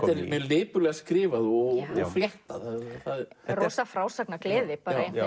mjög lipurlega skrifað og fléttað það er rosa frásagnargleði